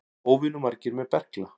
Óvenju margir með berkla